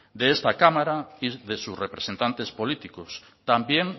de esta cámara y de sus representantes políticos también